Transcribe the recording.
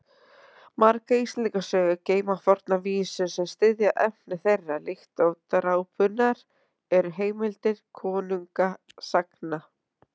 Margar Íslendingasögur geyma fornar vísur sem styðja efni þeirra, líkt og drápurnar eru heimildir konungasagna.